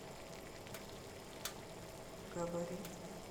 габарит